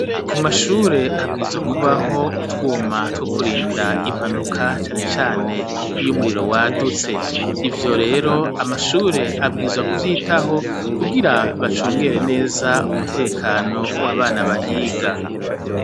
Ku mashure habwirizwa kubaho utwuma two kurinda impanuka, cane cane iyo umuriro wadutse. Ivyo rero amashure abwirizwa kuvyitaho kugira bacungere neza umutekano w'abana bahiga.